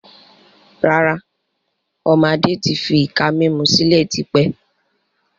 Rárá, ọmọ Adé tí fi ìka mímú sílẹ̀ tí pẹ́.